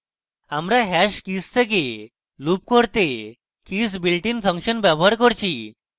আমি hash keys থেকে loop করতে keys built in ফাংশন ব্যবহার করছি